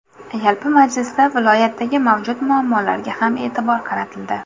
Yalpi majlisda viloyatdagi mavjud muammolarga ham e’tibor qaratildi.